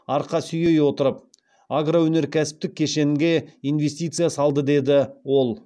арқа сүйей отырып агроөнеркәсіптік кешенге инвестиция салды деді ол